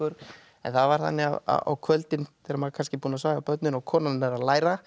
en það var þannig á kvöldin þegar maður var kannski búinn að svæfa börnin og konan er að læra